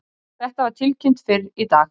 Þetta var tilkynnt fyrr í dag